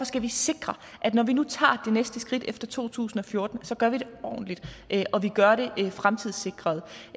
skal vi sikre at når vi nu tager det næste skridt efter to tusind og fjorten gør vi det ordentligt og vi gør det fremtidssikret